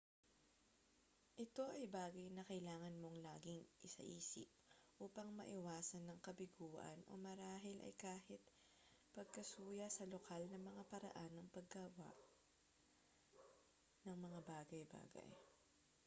ito ay bagay na kailangan mong laging isaisip upang maiwasan ang kabiguan o marahil ay kahit pagkasuya sa lokal na mga paraan ng paggawa ng mga bagay-bagay